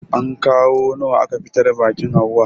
Anko nawa aka fitar biƙin hauwa?